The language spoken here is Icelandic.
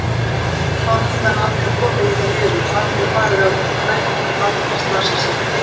Þá hefði hann aldrei komið hingað niður, aldrei farið á þetta bretti, aldrei slasað sig.